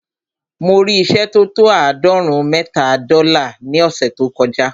Mo rí ìṣẹ́ tó tó àádọ́rùn-ún mẹ́ta dọ́là ní ọ̀ṣẹ̀ tó kọ já.